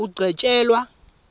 ugcetjelwa